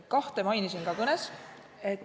Kahte mainisin ma ka kõnes.